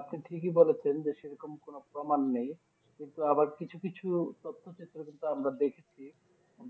আপনি ঠিকই বলেছেন যে সেরকম কোনো প্রমান নেই কিন্তু আবার কিছু কিছু তথক্ষত্রে কিন্তু আমরা দেখেছি